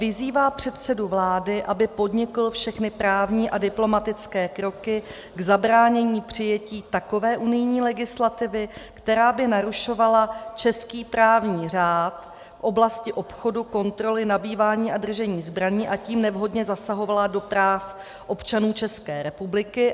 Vyzývá předsedu vlády, aby podnikl všechny právní a diplomatické kroky k zabránění přijetí takové unijní legislativy, která by narušovala český právní řád v oblasti obchodu, kontroly, nabývání a držení zbraní, a tím nevhodně zasahovala do práv občanů České republiky.